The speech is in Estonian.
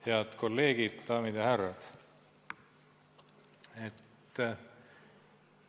Head kolleegid, daamid ja härrad!